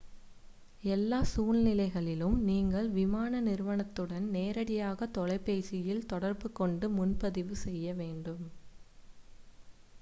எல்லா சூழ்நிலைகளிலும் நீங்கள் விமான நிறுவனத்துடன் நேரடியாக தொலைபேசியில் தொடர்புகொண்டு முன்பதிவு செய்ய வேண்டும்